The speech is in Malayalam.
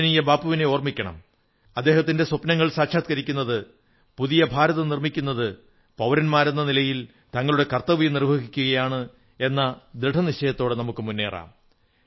പൂജനീയ ബാപ്പുവിനെ ഓർമ്മിക്കണം അദ്ദേഹത്തിന്റെ സ്വപ്നങ്ങൾ സാക്ഷാത്കരിക്കുന്നത് പുതിയ ഭാരതം നിർമ്മിക്കുന്നത് പൌരന്മാരെന്ന നിലയിൽ തങ്ങളുടെ കർത്തവ്യം നിർവ്വഹിക്കുകയാണ് എന്ന ദൃഢനിശ്ചയത്തോടെ മുന്നേറാം